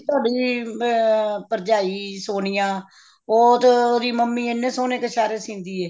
ਤੁਹਾਡੀ ਅਮ ਭਰਜਾਈ ਸੋਨੀਆ ਉਹ ਤੇ ਉਹਦੀ ਮੰਮੀ ਇੰਨੇ ਸੋਹਣੇ ਕਛੇਰੇ ਸਿਉਂਦੀ ਹੈ